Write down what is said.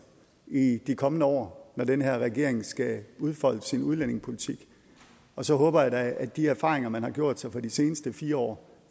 i de kommende år når den her regering skal udfolde sin udlændingepolitik og så håber jeg da at de erfaringer man har gjort sig fra de seneste fire år